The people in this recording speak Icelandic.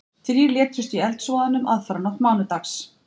Þrír létust í eldsvoðanum aðfararnótt mánudags